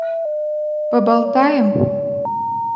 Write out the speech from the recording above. поболтаем